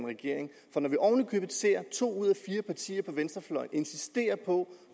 regering når vi oven i købet ser to ud af fire partier på venstrefløjen insistere på